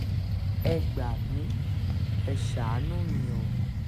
ẹ gbà mí ẹ́ ṣàánú mi o